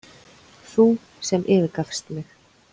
Þú sem yfirgafst mig.